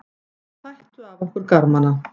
Þeir tættu af okkur garmana.